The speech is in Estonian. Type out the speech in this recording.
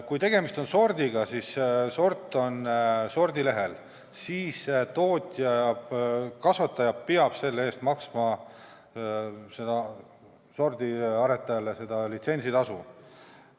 Kui tegemist on sordiga – sort on sordilehel –, siis tootja ehk kasvataja peab selle eest sordiaretajale maksma litsentsitasu.